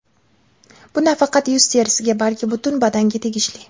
Bu nafaqat yuz terisiga, balki butun badanga tegishli.